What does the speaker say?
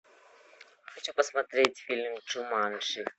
хочу посмотреть фильм джуманджи